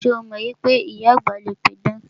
Ṣé o mọ wípé ìyá àgbà le pidàn?